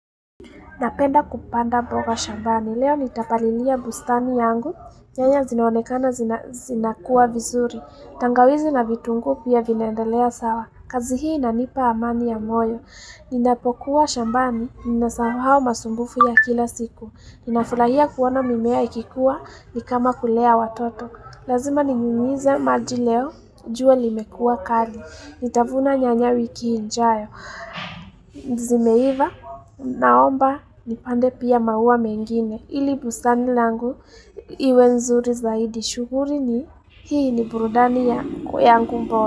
Napenda kupanda mboga shambani, leo nitapalilia bustani yangu, nyanya zinaonekana zina kuwa vizuri, tangawizi na vitungu pia vinaendelea sawa, kazi hii inanipa amani ya moyo, ninapokuwa shambani, ninasahau masumbufu ya kila siku, ninafulahia kuona mimea ikikuwa, nikama kulea watoto, lazima ninyunyize maji leo, jua limekua kali, nitavuna nyanya wiki injayo. Ndizi meiva naomba nipande pia maua mengine ili busani langu iwe nzuri zaidi shuguri ni hii ni burudani ya kwe yangu mbora.